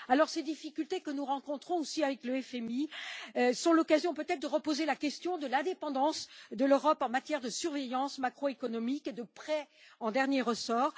Les difficultés, que nous rencontrons aussi avec le FMI, sont peut être l'occasion de reposer la question de l'indépendance de l'Europe en matière de surveillance macroéconomique et de prêts en dernier ressort.